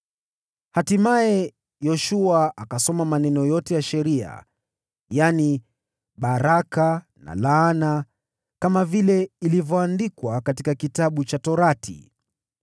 Hatimaye, Yoshua akasoma maneno yote ya sheria, yaani baraka na laana, kama vile ilivyoandikwa katika Kitabu cha Sheria.